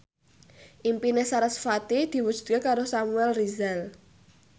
impine sarasvati diwujudke karo Samuel Rizal